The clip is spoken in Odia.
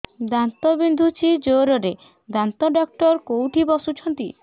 ଦାନ୍ତ ବିନ୍ଧୁଛି ଜୋରରେ ଦାନ୍ତ ଡକ୍ଟର କୋଉଠି ବସୁଛନ୍ତି